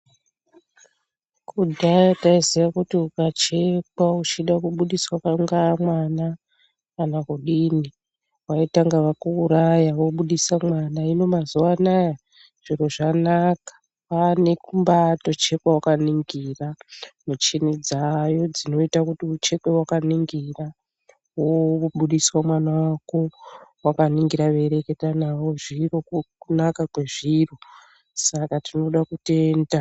Kudhaya taiziya kuti ukachekwa uchida kubudiswa kungava mwana kana kudini, vaitanga vakuuraya vobudisa mwana, hino mazuwaanaa zviro zvanaka, kwaane kumbaatochekwa wakaningira. Michini dzaayo dzinoita kuti uchekwe wakaningira, wobudiswa mwana wako wakaningira weireketa navo zviro. Uku kunaka kwezviro saka tinoda kutenda.